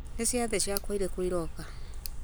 nĩ ciathĩ ciakwa irĩkũ iroka